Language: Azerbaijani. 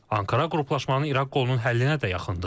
Ankara qruplaşmanın İraq qolunun həllinə də yaxındır.